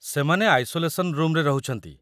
ସେମାନେ ଆଇସୋଲେସନ୍ ରୁମ୍‌ରେ ରହୁଛନ୍ତି